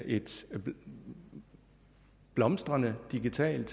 et blomstrende digitalt